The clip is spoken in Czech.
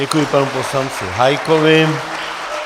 Děkuji panu poslanci Hájkovi.